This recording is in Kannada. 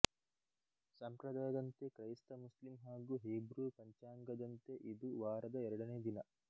ಸಂಪ್ರದಾಯದಂತೆ ಕ್ರೈಸ್ತಮುಸ್ಲಿಂ ಹಾಗೂ ಹೀಬ್ರೂ ಪಂಚಾಂಗದಂತೆ ಇದು ವಾರದ ಎರಡನೇ ದಿನ